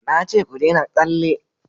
na ce ku dena tsalle!